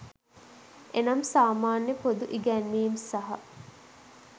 එනම්, සාමාන්‍ය පොදු ඉගැන්වීම් සහ